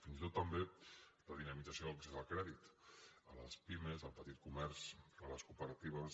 fins i tot també de dinamització de l’accés al crèdit a les pimes al petit comerç a les cooperatives